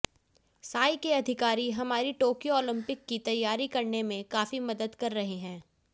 साई के अधिकारी हमारी टोक्यो ओलम्पिक की तैयारी करने में काफी मदद कर रहे हैं